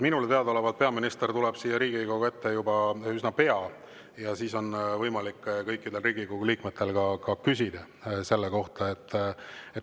Minule teadaolevalt peaminister tuleb siia Riigikogu ette juba üsna pea ja siis on kõikidel Riigikogu liikmetel võimalik temalt selle kohta küsida.